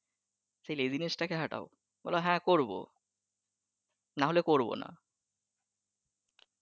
সে laziness টাকে হাটাও বলো হ্যা করবো নাহলে করবোনা